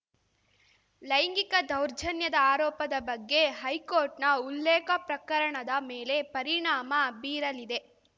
ಲೈಂಗಿಕ ದೌರ್ಜನ್ಯದ ಆರೋಪದ ಬಗ್ಗೆ ಹೈಕೋರ್ಟ್‌ನ ಉಲ್ಲೇಖ ಪ್ರಕರಣದ ಮೇಲೆ ಪರಿಣಾಮ ಬೀರಲಿದೆ